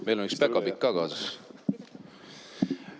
Meil on üks päkapikk ka kaasas.